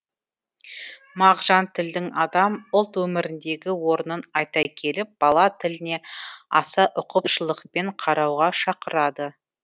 мағжан тілдің адам ұлт өміріндегі орнын айта келіп бала тіліне аса ұқыпшылықпен қарауға шақырады